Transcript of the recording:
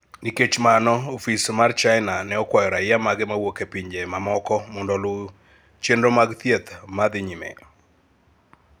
Nikech mano, ofis mar China ne okwayo raia mage mawuok e pinje mamoko mondo oluw chenro mag thieth ma dhi nyime.